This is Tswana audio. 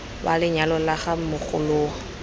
wa lenyalo la ga mogoloo